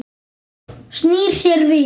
Snýr sér við.